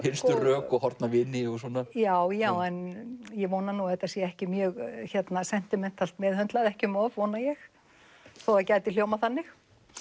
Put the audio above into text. hinstu rök og horfna vini já já en ég vona að þetta sé ekki mjög ekki um of vona ég þó það gæti hljómað þannig